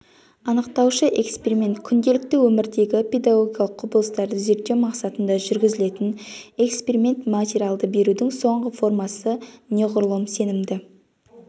анықтаушы эксперимент күнделікті өмірдегі педагогикалық құбылыстарды зерттеу мақсатында жүргізілетін эксперимент материалды берудің соңғы формасы неғұрлым сенімді